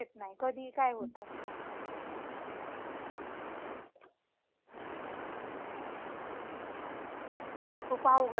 खूप अवघड झालंय आता.